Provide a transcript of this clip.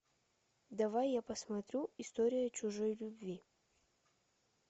давай я посмотрю история чужой любви